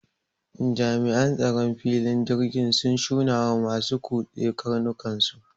jami'an tsaron filin jirgin sun shunawa masu kutse karnukansu